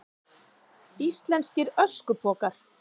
Íslenskir öskupokar.